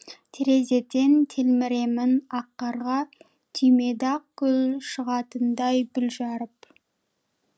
терезеден телміремін ақ қарға түймедақ гүл шығатындай бүр жарып